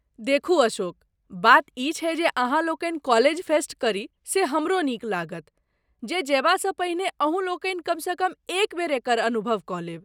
देखू अशोक, बात ई छैक जे अहाँलोकनि कॉलेज फेस्ट करी से हमरहु नीक लागत जे जयबासँ पहिने अहूँलोकनि कमसँ कम एक बेर एकर अनुभव कऽ लेब।